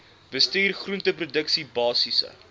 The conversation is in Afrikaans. bestuur groenteproduksie basiese